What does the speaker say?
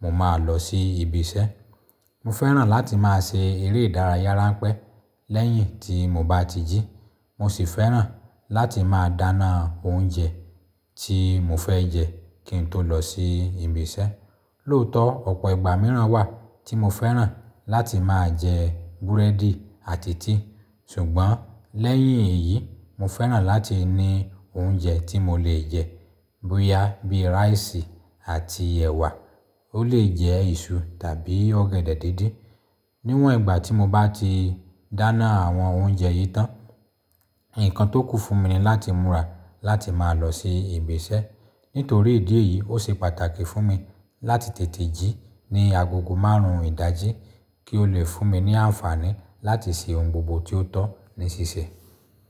mo máa lọ sí ibi iṣẹ́. Mo fẹ́ràn láti máa ṣe eré ìdárayá ránpẹ́ lẹ́yìn tí mo bá ti jí. Mo sì fẹ́ràn láti máa dáná oúnjẹ tí mo fẹ́ jẹ kí n tó lọ sí ibi iṣẹ́. Lóòótọ́ ọ̀pọ̀ ìgbà mìíràn wà tí mo fẹ́ràn láti máa jẹ búrẹ́dì àti tíì. Ṣùgbọ́n lẹ́yìn èyí, mo fẹ́ràn láti ní oúnjẹ tí mo lè jẹ bóyá bí ráìsì àti ẹ̀wà. Ó lè jẹ́ iṣu tàbí ọ̀gẹ̀dẹ̀ díndín. Níwọ̀n ìgbà tí mo bá ti dáná àwọn oúnjẹ yìí tán, ǹkan tó kù fún mi ni láti múra láti máa lọ sí ibi iṣẹ́. Nítorí ìdí èyí, ó ṣe pàtàkì fún mi láti tètè jí ní agogo márùn-ún ìdájí kí ó lè fún mi ní àǹfààní láti ṣe ohun gbogbo tí ó tọ́ ní ṣíṣe.